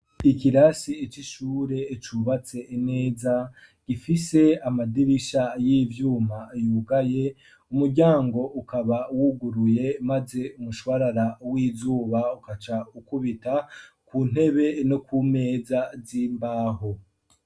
Ikirasi c'ishure cubatse neza, gifise amadirisha y'ivyuma yugaye, umuryango ukaba wuguruye, maze umushwarara w'izuba ugaca ukubita ku ntebe no kumeza z'imbaho.